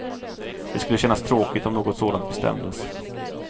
Det skulle kännas tråkigt om något sådant bestämdes.